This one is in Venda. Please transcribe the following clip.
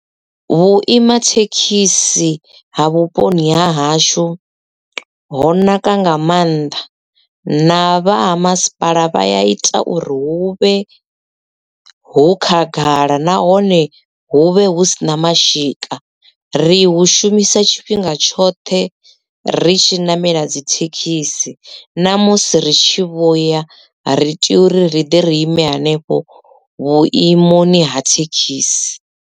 Vhuima thekhisi ha vhuponi ha hashu ho naka nga maanḓa na vha ha masipala vha ya ita uri hu vhe hu khagala nahone huvhe hu sina mashika ri hu shumisa tshifhinga tshoṱhe ri tshi namela dzithekhisi na musi ri tshi vhuya ri tea uri ri ḓi ri ime henefho vhuimoni ha thekhisi.